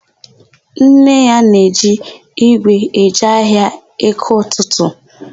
Nne ya na-eji ígwè eje ahịa EkeỤtụtụ.